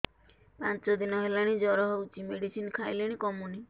ପାଞ୍ଚ ଦିନ ହେଲାଣି ଜର ହଉଚି ମେଡିସିନ ଖାଇଲିଣି କମୁନି